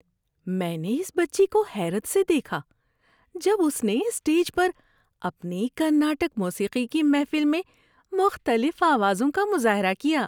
میں نے اس بچی کو حیرت سے دیکھا جب اس نے اسٹیج پر اپنی کرناٹک موسیقی کی محفل میں مختلف آوازوں کا مظاہرہ کیا۔